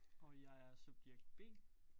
Og jeg er subjekt B